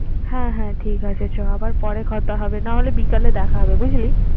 হ্যাঁ হ্যাঁ ঠিক আছে যা আবার পরে কথা হবে, না হলে বিকালে দেখা হবে। বুঝলি?